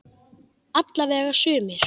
Alla vega sumir.